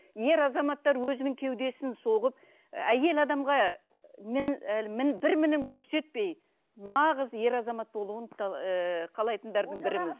ер азаматтар өзінің кеудесін соғып әйел адамға бір мінін көрсетпей нағыз ер азамат болуын ыыы қалайтындардың бірімін